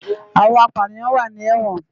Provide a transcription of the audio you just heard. Awòn àpániyán wá ni èwòn